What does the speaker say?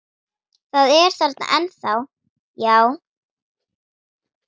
Það er þarna ennþá, já.